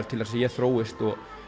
til að ég þróist